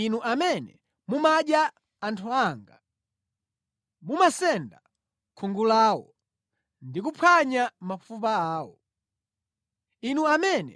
inu amene mumadya anthu anga, mumasenda khungu lawo ndi kuphwanya mafupa awo; inu amene